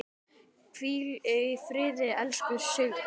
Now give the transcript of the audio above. Hvíl í friði, elsku Sigrún.